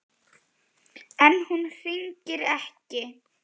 En hún hringir ekki.